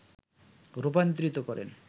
রূপান্তরিত করেন